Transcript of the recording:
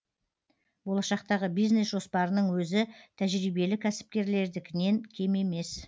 болашақтағы бизнес жоспарының өзі тәжірибелі кәсіпкерлердікінен кем емес